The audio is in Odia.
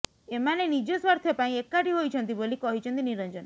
ଏମାନେ ନିଜ ସ୍ବାର୍ଥ ପାଇଁ ଏକାଠି ହୋଇଛନ୍ତି ବୋଲି କହିଛନ୍ତି ନିରଞ୍ଜନ